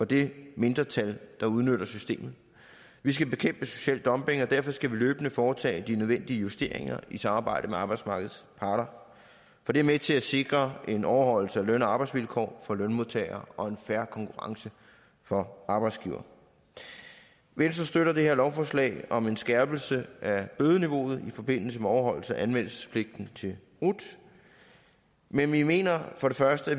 det mindretal der udnytter systemet vi skal bekæmpe social dumping og derfor skal vi løbende foretage de nødvendige justeringer i samarbejde med arbejdsmarkedets parter for det er med til at sikre en overholdelse af løn og arbejdsvilkår for lønmodtagere og en fair konkurrence for arbejdsgivere venstre støtter det her lovforslag om en skærpelse af bødeniveauet i forbindelse med overholdelse af anmeldelsespligten til rut men vi mener for det første at